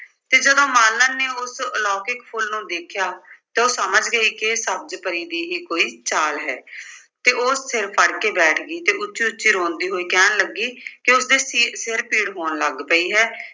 ਤੇ ਜਦੋਂ ਮਾਲਣ ਨੇ ਉਸ ਆਲੌਕਿਕ ਫੁੱਲ ਨੂੰ ਦੇਖਿਆ ਤਾਂ ਉਹ ਸਮਝ ਗਈ ਕਿ ਇਹ ਸਬਜ਼ ਪਰੀ ਦੀ ਹੀ ਕੋਈ ਚਾਲ ਹੈ ਤੇ ਉਹ ਸਿਰ ਫੜ ਕੇ ਬੈਠ ਗਈ ਤੇ ਉੱਚੀ-ਉੱਚੀ ਰੋਂਦੀ ਹੋਈ ਕਹਿਣ ਲੱਗੀ ਕਿ ਉਸਦੇ ਸਿ ਅਰ ਸਿਰ ਪੀੜ ਹੋਣ ਲੱਗ ਪਈ ਹੈ